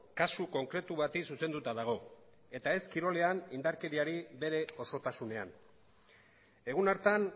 kasu konkretu bati zuzenduta dago eta ez kirolean indarkeriari bere osotasunean egun hartan